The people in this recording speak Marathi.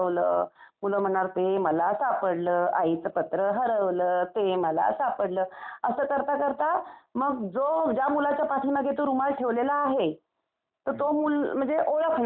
मुलं म्हणणार ते मला सापडलं. आईचं पत्र हरवलं, ते मला सापडलं. असं करता करता मग जो, ज्या मुलाच्या पाठीमागे तो रुमाल ठेवलेला आहे, तर तो मूल म्हणजे ओळखणार आणि